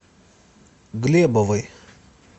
глебовой